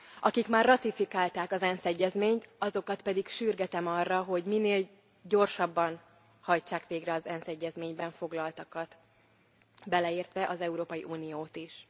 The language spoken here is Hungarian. akik már ratifikálták az ENSZ egyezményt, azokat pedig sürgetem arra, hogy minél gyorsabban hajtsák végre az ENSZ egyezményben foglaltakat, beleértve az Európai Uniót is.